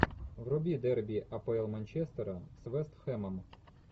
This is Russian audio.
вруби дерби апл манчестера с вест хэмом